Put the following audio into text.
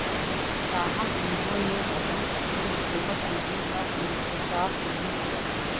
تاہم انہوں نے ابھی اپنی حکمت عملی کا انکشاف نہیں کیا